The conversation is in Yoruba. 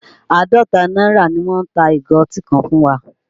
Àádọ́ta náírà ni wọ́n ta ìgò ọtí ká fún wa